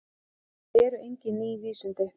Þetta eru engin ný vísindi.